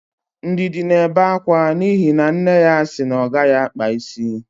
Ndidi na-ebe akwa n'ihi na nne ya sị na ọ gaghị akpa isi.